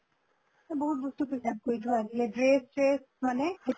বহুত বস্তুটো কৰি থোৱা আছিলে dress চ্ৰেচ মানে